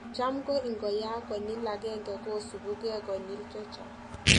Cham ko ingoyaak konyil agenge kosupu geeh konyil chechang